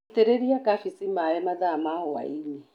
Itĩrĩria kambĩnji maĩ mathaa ma hwaĩinĩ.